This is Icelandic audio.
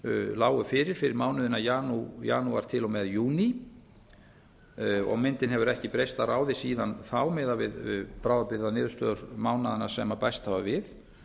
lágu fyrir fyrir mánuðina janúar til og með júní og myndin hefur ekki breyst að ráði síðan þá miðað við bráðabirgðaniðurstöður mánaðanna sem bæst hafa við